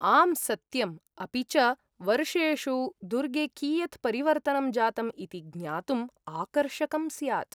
आम्, सत्यम्। अपि च, वर्षेषु दुर्गे कियत् परिवर्तनं जातम् इति ज्ञातुम् आकर्षकम् स्यात्।